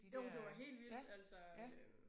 Jo men det var helt vildt altså øh